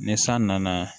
Ni san nana